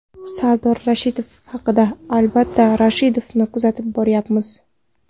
Sardor Rashidov haqida Albatta, Rashidovni kuzatib boryapmiz.